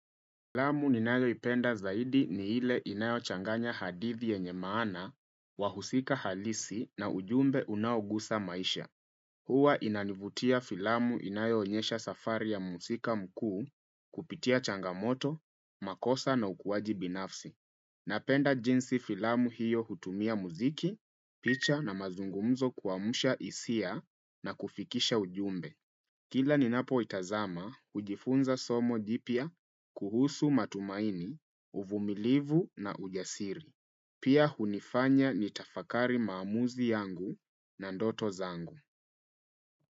Filamu ninayo ipenda zaidi ni ile inayo changanya hadithi yenye maana wahusika halisi na ujumbe unaogusa maisha. Huwa inanivutia filamu inayo onyesha safari ya muhusika mkuu kupitia changamoto, makosa na ukuaji binafsi. Napenda jinsi filamu hiyo hutumia muziki, picha na mazungumzo kuamsha hisia na kufikisha ujumbe. Kila ninapo itazama, hujifunza somo jipya kuhusu matumaini, uvumilivu na ujasiri. Pia hunifanya ni tafakari maamuzi yangu na ndoto zangu.